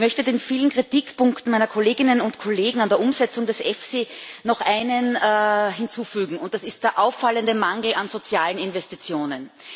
Ich möchte den vielen Kritikpunkten meiner Kolleginnen und Kollegen an der Umsetzung des EFSI noch einen hinzufügen Das ist der auffallende Mangel an sozialen Investitionen.